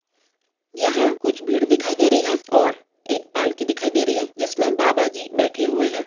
यह कुछ भीड़ दिखाई दे रही है और एक पालकी दिखाई दे रही है जिसमे बाबाजी बैठे हुए है।